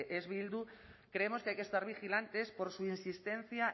es bildu creemos que hay que estar vigilantes por su insistencia